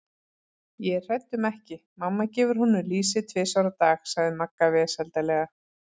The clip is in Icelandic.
Ég er hrædd um ekki, mamma gefur honum lýsi tvisvar á dag sagði Magga vesældarlega.